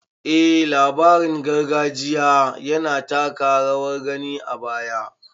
Eh labarin gargajiya yana taka rawar gani a baya